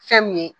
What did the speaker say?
Fɛn mun ye